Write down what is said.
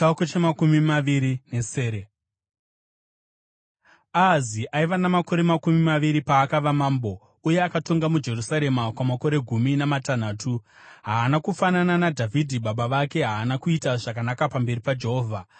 Ahazi aiva namakore makumi maviri paakava mambo, uye akatonga muJerusarema kwamakore gumi namatanhatu. Haana kufanana naDhavhidhi baba vake, haana kuita zvakanaka pamberi paJehovha.